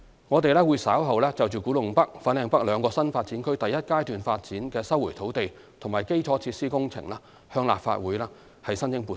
我們稍後會就古洞北/粉嶺北兩個新發展區第一階段發展的收回土地及基礎設施工程向立法會申請撥款。